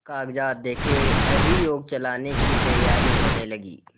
कागजात देखें अभियोग चलाने की तैयारियॉँ होने लगीं